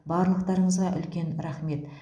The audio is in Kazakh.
барлықтарыңызға үлкен рахмет